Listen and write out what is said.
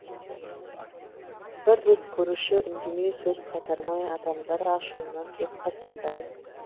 бір рет көрші үндемей сөз қайтармай адамдар ашуынан тез қайтардай